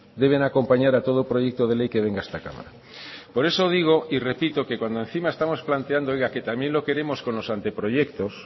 deben acompañar a todo proyecto de ley que venga a esta cámara por eso digo y repito que cuando encima estamos planteando oiga que también lo queremos con los anteproyectos